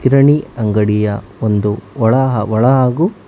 ಕಿರಣಿ ಅಂಗಡಿಯ ಒಂದು ಒಳ ಒಳಾ ಹಾಗು--